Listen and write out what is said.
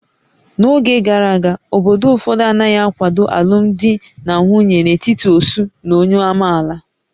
N'oge gara aga, obodo ụfọdụ anaghị akwado alụmdi na nwunye n'etiti ósú na onye amaala